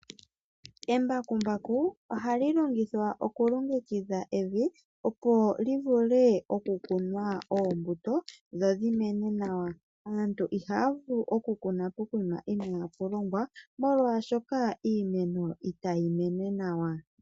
Embakumbaku ohali longithwa okulongekidha evi opo livule okukunwa oombuto dhodhimene nawa. Aantu ihaya vulu okukuna pokuma inapulongwa molwashoka iimeno itayi mene nawa.